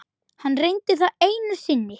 Hann reyndi það einu sinni.